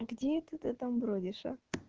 где это ты там бродишь а